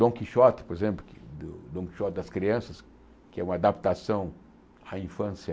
Dom Quixote, por exemplo, Dom Quixote das Crianças, que é uma adaptação à infância...